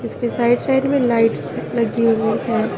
इसके side side में lights लगी हुई है।